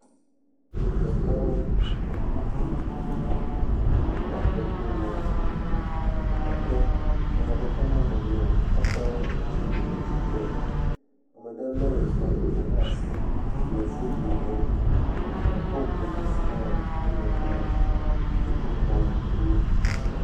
Etsiƒoɖi aɖe xa ɖe teƒe ya. Egbewo, kusiwo, ƒoƒu ɖe teƒe ɖeka. Exɔ aɖe le wo gbɔ afi ma. Ame aɖewo hã zɔzɔm yim gbɔgbɔm. Amea ɖe kpla bagi yibɔ. Amea ɖe hã tɔ ɖe ŋu dzi megbe